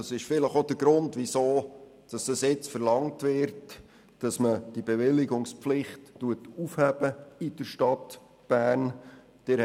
Das ist wahrscheinlich auch der Grund, weshalb nun verlangt wird, diese Bewilligungspflicht in der Stadt Bern aufzuheben.